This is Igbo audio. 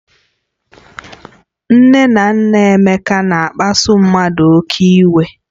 Nne na nna Emeka na-akpasu mmadụ oke iwe